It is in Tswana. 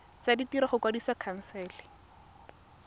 tsa ditiro go kwadisa khansele